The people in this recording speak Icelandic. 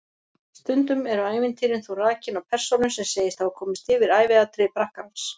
Stundum eru ævintýrin þó rakin af persónu sem segist hafa komist yfir æviatriði prakkarans.